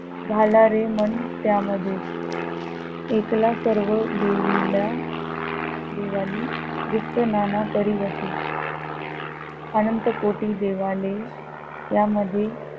घाला रे मन त्या मध्ये एकला सर्व देवीला देवानी गुप्त नाना परीवसे अनंत कोटी देवालय या मध्ये